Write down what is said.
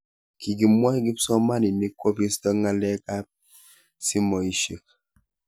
Kikimwoi kipsomaninik kopisto ngalek ab simoishe.